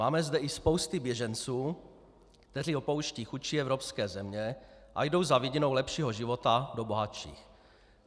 Máme zde i spousty běženců, kteří opouštějí chudší evropské země a jdou za vidinou lepšího života do bohatších.